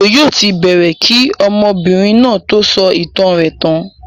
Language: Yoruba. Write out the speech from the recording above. Òjo yóò ti bẹ̀ẹ̀rẹ̀ kí ọmọbìnrin náà tó sọ ìtàn rẹ̀ tán.